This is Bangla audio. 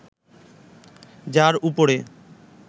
যার উপরে